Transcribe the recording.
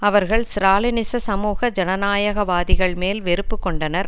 அவர்கள் ஸ்ராலினிச சமூக ஜனநாயகவாதிகள் மேல் வெறுப்பு கொண்டனர்